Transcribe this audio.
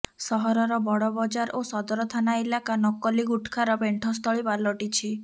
ସହରର ବଡ଼ବଜାର ଓ ସଦର ଥାନା ଇଲାକା ନକକଲି ଗୁଟ୍ଖାର ପେଣ୍ଠସ୍ଥଳି ପାଲଟିଛି